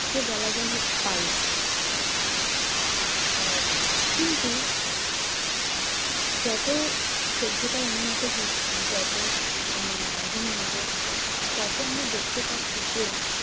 কে বলা যায় হচ্ছে বায়ু। আহ কিন্তু যত সভ্যতা উন্নত হচ্ছে যত আহ দিন এগোচ্ছে তত আমরা দেখতে পাচ্ছি যে